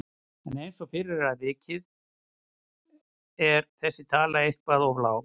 En eins og fyrr er vikið að er þessi tala eitthvað of lág.